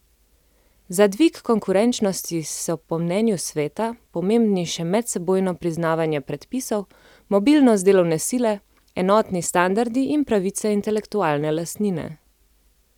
Za dvig konkurenčnosti so po mnenju sveta pomembni še medsebojno priznavanje predpisov, mobilnost delovne sile, enotni standardi in pravice intelektualne lastnine.